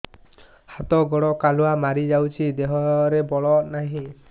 ହାତ ଗୋଡ଼ କାଲୁଆ ମାରି ଯାଉଛି ଦେହରେ ବଳ ନାହିଁ